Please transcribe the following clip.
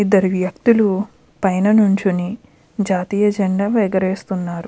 ఇద్దరు వ్యక్తులు పైన నించుని జాతీయ జెండా ఎగరవేస్తున్నారు.